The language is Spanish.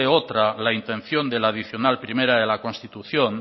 otra la intención de la adicional primera de la constitución